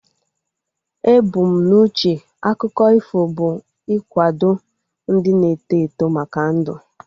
Ebu m n'uche akụkọ ifo bụ ikwado ndị na-eto eto maka ndu